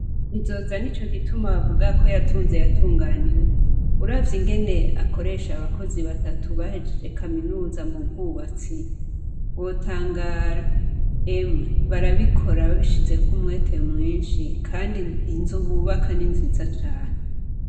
Bizoza nicogituma bavuga ko yatunze yatunganiwe. Uravye ingene akoresha abakozi batatu bahejeje Kaminuza m'ubwubatsi wotangara. Emwe barabikora babishizeko umwete mwinshi kandi inzu bubaka ni nziza cane.